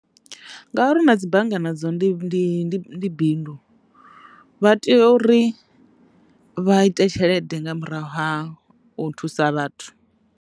Ngauri na dzi bannga nadzo ndi bindu vha tea uri vha ite tshelede nga murahu ha u thusa vhathu.